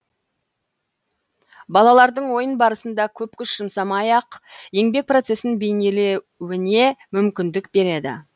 балалардың ойын барасында көп күш жұмсамай ақ еңбек процесін бейнелеуіне мүмкіндік береді